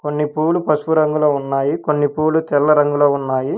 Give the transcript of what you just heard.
కొన్ని పూలు పసుపు రంగులో ఉన్నాయి కొన్ని పూలు తెల్ల రంగులో ఉన్నాయి.